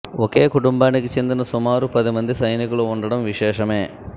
ఒకే కుటుంబానికి చెందిన సుమారు పది మంది సైనికులు ఉండడం విశేషమే